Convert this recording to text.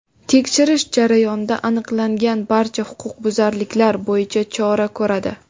tekshirish jarayonida aniqlangan barcha huquqbuzarliklar bo‘yicha chora ko‘radi.